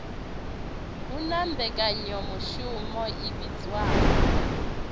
hu na mmbekanyamushumo i vhidzwaho